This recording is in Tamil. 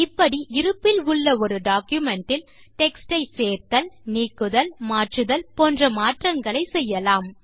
இப்படி இருப்பில் உள்ள ஒரு டாக்குமென்ட் இல் டெக்ஸ்ட் ஐ சேர்த்தல் நீக்குதல் மாற்றுதல் போன்ற மாற்றங்களை செய்யலாம்